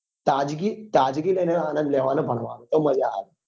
તાજગી તાજગી લઇ ને આણંદ લેવા નો ભણવા નો તોમાંજા આવે